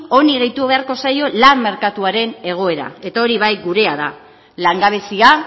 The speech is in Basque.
honi gehitu beharko zaio lan merkatuaren egoera eta hori bai gurea da langabezia